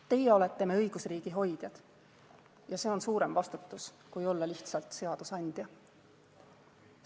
Teie olete me õigusriigi hoidjad ja see on suurem vastutus kui olla lihtsalt seadusandja.